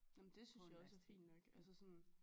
Nå men det synes jeg også er fint nok altså sådan